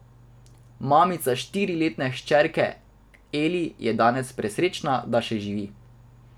Mamica štiriletne hčerke Eli je danes presrečna, da še živi.